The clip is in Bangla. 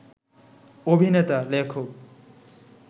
অভিনেতা, লেখক